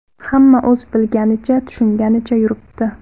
Hamma o‘z bilganicha, tushunganicha yuribdi.